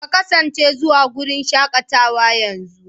Kasance zuwa wurin shakatawa yanzu!